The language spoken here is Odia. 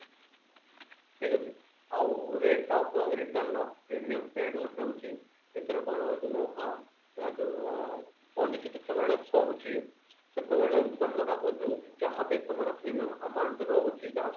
ଠିକ ଅଛି ଆଉ rate of return premium paid ଗୋଟେ ରହୁଛି ଏଥିରେ କଣ ହଉଛି ନା ଅ ଅ ଯୋଉ policy ଯେତେବେଳେ ସରୁଛି ସେତେବେଳେ ତମର ଯୋଉ ଯାହାବି ତମର premium amount ରହୁଛି ଯାହା ସବୁ